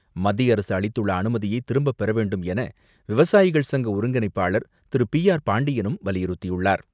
மத்திய அரசு அளித்துள்ள அனுமதியை திரும்பப்பெற வேண்டும் என விவசாயிகள் சங்க ஒருங்கிணைப்பாளர் திரு பி ஆர் பாண்டியனும் வலியுறுத்தியுள்ளார்.